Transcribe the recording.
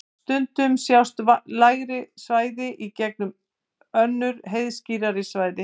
stundum sjást lægri svæði í gegnum önnur heiðskírari svæði